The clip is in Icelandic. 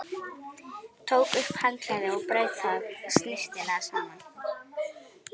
Tók upp handklæðið og braut það snyrtilega saman.